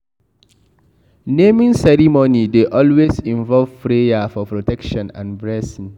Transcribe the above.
Naming ceremony dey always involve prayer for protection and blessing